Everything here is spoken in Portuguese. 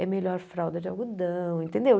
É melhor fralda de algodão, entendeu?